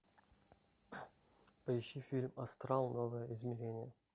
поищи фильм астрал новое измерение